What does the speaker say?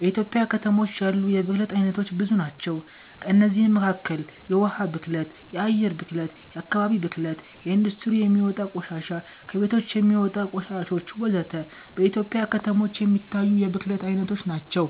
በኢትዮጵያ ከተሞች ያሉ የብክለት አይነቶች ብዙ ናቸው። ከእነዚህም መካከል የውሃ ብክለት፣ የአየር ብክለት፣ የአከባቢ ብክለት፣ ከኢንዱስትሪ የሚወጣ ቆሻሻ፣ ከቤቶች የሚወጣ ቆሻሾች ወዘተ። በኢትዮጵያ ከተሞች የሚታይ የብክለት አይነቶች ናቸው።